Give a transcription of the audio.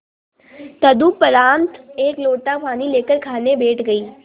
तदुपरांत एक लोटा पानी लेकर खाने बैठ गई